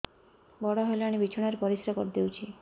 ବଡ଼ ହେଲାଣି ବିଛଣା ରେ ପରିସ୍ରା କରିଦେଉଛି